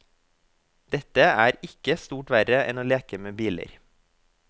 Dette er ikke stort verre enn å leke med biler.